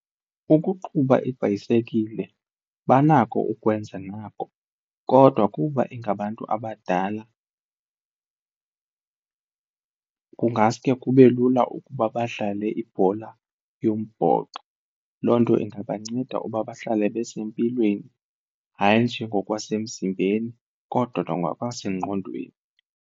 Ukuqhuba ibhayisekile banako ukwenza nako kodwa kuba ingabantu abadala kukho kungasuke kube lula ukuba badlale ibhola yombhoxo, loo nto ingabanceda ukuba bahlale besempilweni hayi nje ngokwasemzimbeni kodwa nangokwasengqondweni.